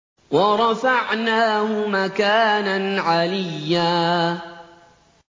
وَرَفَعْنَاهُ مَكَانًا عَلِيًّا